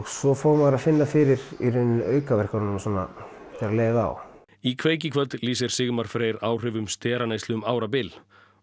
svo fór maður að finna fyrir aukaverkununum þegar leið á í kveik í kvöld lýsir Sigmar Freyr áhrifum steraneyslu um árabil